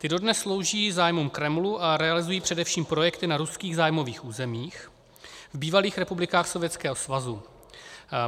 Ty dodnes slouží zájmům Kremlu a realizují především projekty na ruských zájmových územích, v bývalých republikách Sovětského svazu.